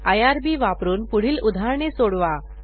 IRB वापरून पुढील उदाहरणे सोडवा